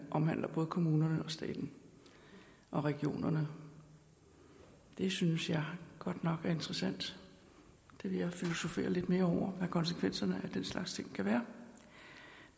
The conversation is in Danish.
omhandler både kommunerne og staten og regionerne det synes jeg godt nok er interessant det vil jeg filosofere lidt mere over hvad konsekvenserne af den slags ting kan være